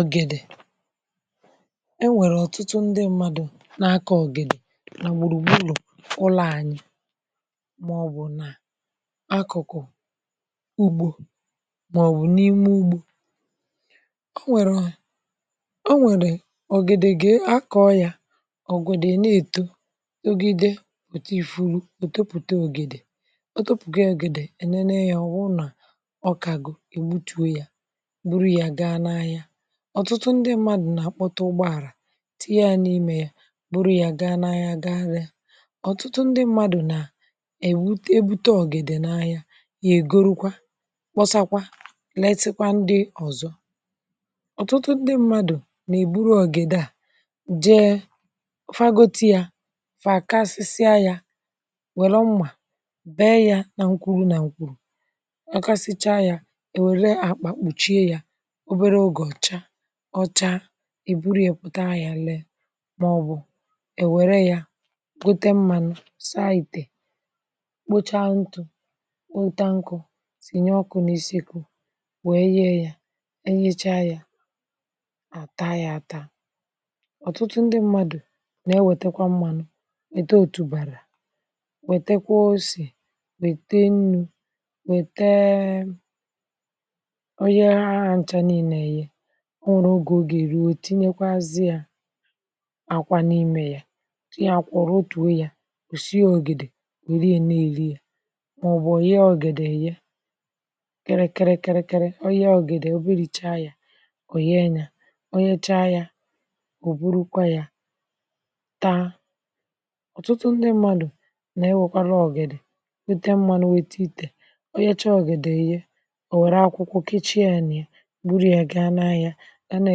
ọ̀gèdè e nwèrè ọ̀tụtụ ndị mmadụ̀ n’akọ ọ̀gèdè nà gbùrù gburù ụlọ̀ ànyị màọbụ̀ nà akụ̀kụ̀ ugbȯ màọbụ̀ n’ime ugbȯ. O nwèrè o nwèrè ọ̀gèdè gà-akọ̇ yà ọ̀gwèdè na-èto ogide otì furu topụta ọ̀gèdè o topụ̀ta ọ̀gèdè ènene yȧ ọ̀ wụrụ̀ nà ọkàgo ègbutuo yȧ bụrụ yá ga n'ahịa. Ọtụtụ ndị mmadù nà-àkpọta ụgbọàrà tinye ya n’imė ya bụrụ ya gaa n’ahia, ọtụtụ ndị mmadù nà akpọta ugbọala tinye ya n'ime yá bụrụ yá gaa n,ahia ga lee. Ọtụtụ ndi mmadu na ebute èbute ọ̀gèdè n’ahia, yà ègorukwa kpọsakwa lesikwa ndị ọ̀zọ. Ọtụtụ ndị mmadù nà-èburu ọ̀gèdè a jee ha gote ya ha kasịsịa ya werụ mmà bee ya nà nkwuru nà nkwùrù ọ kasịcha ya e wère àkpà kpùchie ya obele oge ọcha, ọcha i buru yà p̀ụta ahị̀a lee màọbụ̀ èwère yȧ gote mmȧnụ̀ sa ịte kpocha ntụ̀ weta nkọ̀ sìnye ọkụ̀ n’isi kụ̀ wee yie yȧ, e yecha yȧ àta yȧ taa. Ọtụtụ ndị mmadụ̀ na-ewetekwa mmȧnụ̀ weta òtùbàrà wetakwa osìe wète nnu̇ wètee oye ha nchȧ niilė eyịe, o nwèrè ogè ọ ga eruò tinye kwa azịȧ àkwà n’imė yȧ ihe àkwà rụ̀ọtùo ya òsìe ògèdè wèe ree neè ri yȧ mà ọ̀ bụ̀ òyee ọ̀gèdè eyee kịrị̇rị̇ kịrị̇rị̇ kịrị̇ onye ọ̀gèdè oberì chaa ya ọ̀ yee chaa yȧ ò burukwa yȧ taa. Ọtụtụ ndị mmadù nà ewekwara ọ̀gèdè o tee mmadù nwète itè onye chaa ọ̀gèdè eyie ò wère akwụkwọ kechie yá nia bụrụ yá ga n'ahịa ga na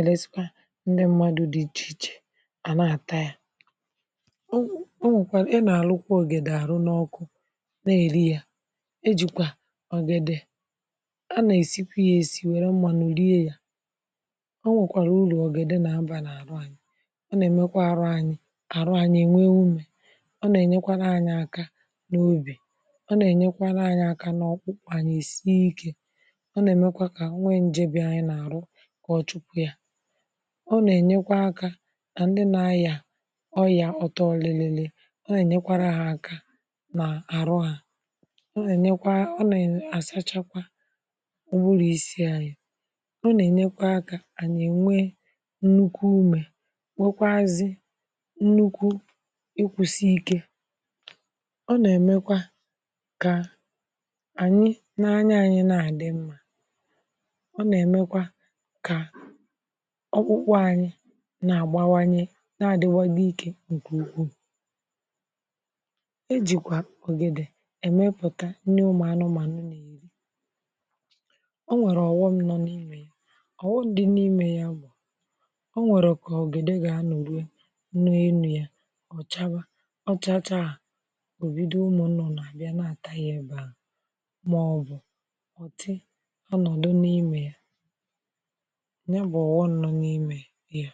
elesịkwa ndị mmadụ̇ dị ichè ichè à na-àta ya. O nwe nwèkwà ị nà-àlụkwa ògèdè àrụ n’ọkụ n’eri ya ejìkwà ògèdè a nà-èsikwa yȧ èsi wère mmanụ rie ya o nwèkwàrà urù ògèdè nà nabà n’àrụ ànyị ọ nà-èmekwa arụ anyị àrụ anyị ènwe ume. Ọ nà-ènyekwa n’anyị aka n’obì ọ, nà-ènyekwa n’anyị aka n’ọkpụkpà anyị èsie ikė, ọ nà-èmekwa kà o nwee njė bì anyị nà àhụ ọchụpụ ya. Ọ nà-ènyekwa aka ka ndị nȧ ayià ọria ọtọlilili ọ nà-ènyekwara ha aka nà àhụ hȧ, ọ nà-ènyekwa, ọ nà-àsachakwa ụbụrụ isi̇ anyị̇, ọ nà-ènyekwa aka ànyị̀ ènwe nnukwu umė nwekwazị nnukwu ịkwụ̀sịkė. Ọ nà-èmekwa kà ànyị n’anya anyị nà àdị mmȧ, ọ na emekwa ka ọkpụkpụ anyi nà-àgbawanye na-adịwanye ịke nkè ugwu. E jìkwà ògèdè èmepụ̀ta nri ụmụ̀anụmànụ n'eri. Ọ nwèrè ọ̀ghọṁ nọ n’imė ọ̀ghọṁ dị n’imė ya bụ o nwèrè Ka ogede ga anọ rụe ọ yá ọcha wa ọchacha obido ụmụ nnụnụ abịa na ata yá ebe ahụ maọbu ọtị ọnọdụ n'ime yá.